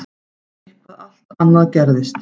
En eitthvað allt annað gerðist.